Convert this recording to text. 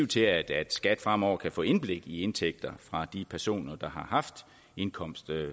til at skat fremover kan få indblik i indtægter fra de personer der har haft indkomst